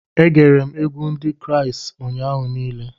E gere m egwu Ndị Kraịst ụnyaahụ niile